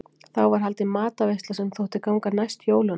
Þá var haldin matarveisla sem þótti ganga næst jólunum.